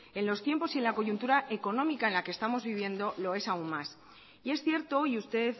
en los tiempos y en la coyuntura económica en la que estamos viviendo lo es aun más y es cierto y usted